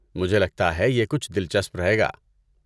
مجھے لگتا ہے یہ کچھ دلچسپ رہے گا۔